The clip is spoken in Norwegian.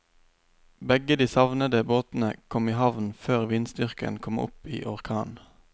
Begge de savnede båtene kom i havn før vindstyrken kom opp i orkan.